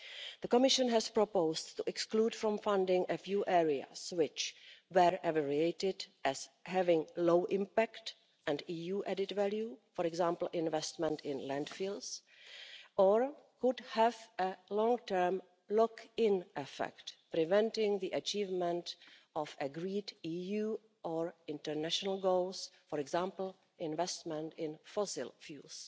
The Commission has proposed to exclude from funding a few areas which were evaluated as having low impact and EU added value, for example investment in landfills, or could have a long term lock in effect, preventing the achievement of agreed EU or international goals, for example investment in fossil fuels.